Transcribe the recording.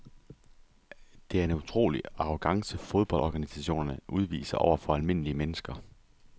Det er en utrolig arrogance fodboldorganisationerne udviser over for almindelige mennesker.